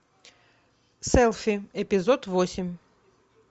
селфи эпизод восемь